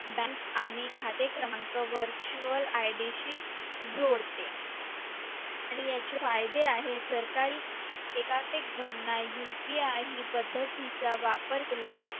Bank खाते क्रमांक virtual ID शी जोडतो आणि याचे फायदे आहे सरकारी एकात्मिक भरणा upi आहे ही पद्धतीचा वापर केला.